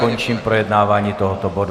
Končím projednávání tohoto bodu.